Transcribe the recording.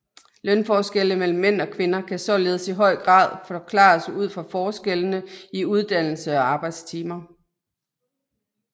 Lønforskelle mellem mænd og kvinder kan således i høj grad forklares ud fra forskellene i uddannelse og arbejdstimer